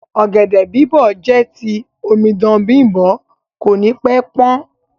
Ọ̀gẹ̀dẹ̀ bìbó jẹ ti omidan Bimbo ko ni pẹ pan.